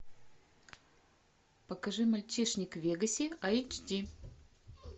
покажи мальчишник в вегасе айч ди